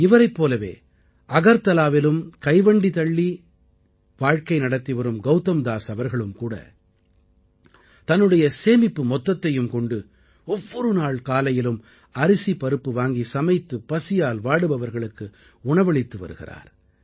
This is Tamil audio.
இவரைப் போலவே அகர்தலாவிலும் கைவண்டி தள்ளிச் சென்று வாழ்க்கை நடத்திவரும் கௌதம்தாஸ் அவர்களுமேகூட தன்னுடைய சேமிப்பு மொத்தத்தையும் கொண்டு ஒவ்வொரு நாள் காலையிலும் அரிசிபருப்பு வாங்கி சமைத்து பசியால் வாடுபவர்களுக்கு உணவளித்து வருகிறார்